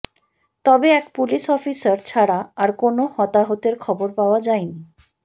তবে এক police officer ছাড়া আর কোনও হতাহতের খবর পাওয়া যায়নি